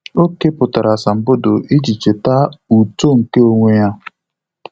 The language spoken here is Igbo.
Ọ́ kèpụ̀tárà asambodo iji chètá uto nke onwe ya.